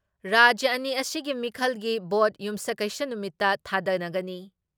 ꯔꯥꯖ꯭ꯌ ꯑꯅꯤ ꯑꯁꯤꯒꯤ ꯃꯤꯈꯜꯒꯤ ꯚꯣꯠ ꯌꯨꯝꯁꯀꯩꯁ ꯅꯨꯃꯤꯠꯇ ꯊꯥꯗꯅꯒꯅꯤ ꯫